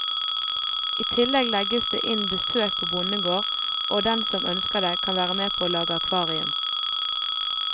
I tillegg legges det inn besøk på bondegård, og den som ønsker det, kan være med å lage akvarium.